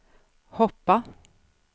hoppa